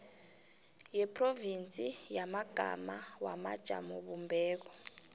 yeprovinsi yamagama wamajamobumbeko